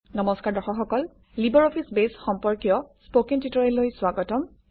নম্সকাৰ দৰ্শক সকল LibreOffice Base সম্পৰ্কীয় স্পকেন টিউটৰিয়েললৈ স্বাগতম